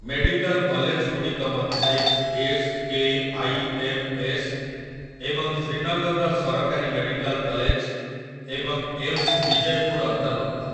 Medical କଲେଜଗୁଡ଼ିକ ମଧ୍ୟରେ S. K. I. M. S. ଏବଂ ଶ୍ରୀନଗରର ସରକାରୀ ମେଡିକାଲ୍ କଲେଜ ଏବଂ ଏମ୍‌ସ ବିଜୟପୁର ଅନ୍ତର୍ଭୁକ୍ତ ।